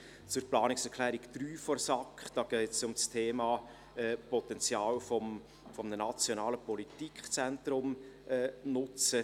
Zur Planungserklärung 3 der SAK: Hier geht es um die Nutzung des Potenzials eines nationalen Politikzentrums.